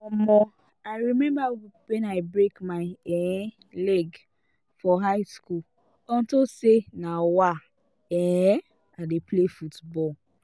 um i remember wen i break my um leg for high school unto say um um i dey play football